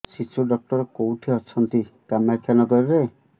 ଶିଶୁ ଡକ୍ଟର କୋଉଠି ଅଛନ୍ତି କାମାକ୍ଷାନଗରରେ